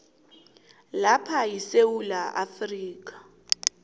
lapho isewula afrika